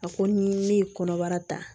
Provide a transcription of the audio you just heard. A ko ni ne ye kɔnɔbara ta